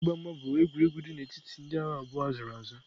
Ịgba mgba bụ egwuregwu dị n'etiti ndị agha abụọ a zụrụ azụ.